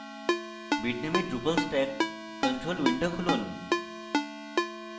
bitnami drupal stack control window খুলুন